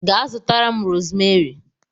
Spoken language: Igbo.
Ga zutara m rosmeri!